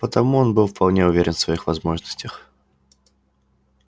потому он был вполне уверен в своих возможностях